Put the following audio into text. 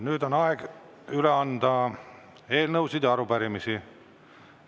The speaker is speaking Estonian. Nüüd on aeg üle anda eelnõusid ja arupärimisi.